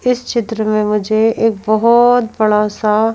इस चित्र में मुझे एक बहुत बड़ा सा--